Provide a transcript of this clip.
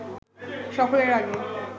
সকলের আগে